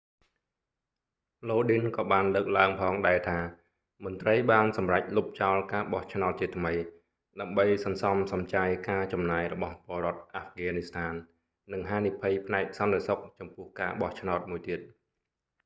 lodin ក៏បានលើកឡើងផងដែរថា មន្រ្តីបានសម្រេចលុបចោលការបោះឆ្នោតជាថ្មី ដើម្បីសន្សំសំចៃការចំណាយរបស់ពលរដ្ឋអាហ្វហ្គានីស្ថាន និងហានិភ័យផ្នែកសន្តិសុខចំពោះការបោះឆ្នោតមួយទៀត